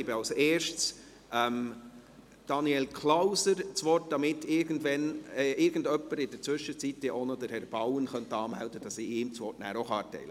Als Erstes gebe ich Daniel Klauser das Wort, damit in der Zwischenzeit irgendjemand auch noch Herrn Bauen anmeldet, sodass ich ihm nachher auch das Wort erteilen kann.